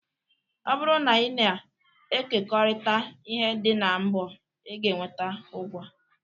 Ọ bụrụ na ị na-ekekọrịta ihe dị ka mbo ị ga-enweta ụgwaa